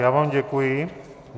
Já vám děkuji.